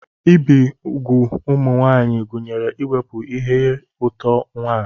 Ibi úgwù ụmụ nwaanyị gụnyere iwepụ ire-otu nwa.